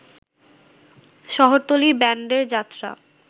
শহরতলী ব্যান্ডের যাত্রা